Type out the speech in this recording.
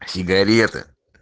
сигареты